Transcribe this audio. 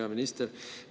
Hea minister!